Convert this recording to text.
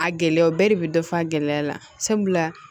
A gɛlɛya bɛɛ de bɛ dɔ fɔ a gɛlɛya la sabula